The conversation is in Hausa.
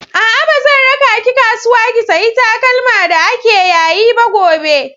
A'a, ba zan raka ki kasuwa ki sayi takalma da ake yayi ba gobe.